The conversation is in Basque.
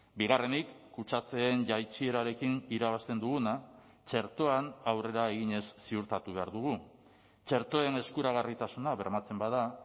bigarrenik kutsatzeen jaitsierarekin irabazten duguna txertoan aurrera eginez ziurtatu behar dugu txertoen eskuragarritasuna bermatzen bada